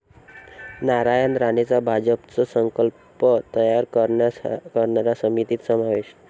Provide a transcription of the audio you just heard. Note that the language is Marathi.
नारायण राणेंचा भाजपचं 'संकल्प पत्र' तयार करणाऱ्या समितीत समावेश